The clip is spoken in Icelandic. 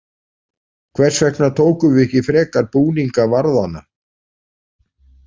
Hvers vegna tókum við ekki frekar búninga varðanna?